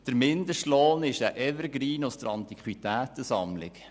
Der Mindestlohn ist ein Evergreen aus der Antiquitätensammlung.